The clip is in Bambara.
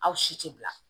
Aw si tɛ bila